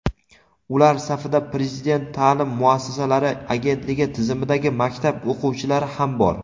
Ular safida Prezident ta’lim muassasalari agentligi tizimidagi maktab o‘qituvchilari ham bor.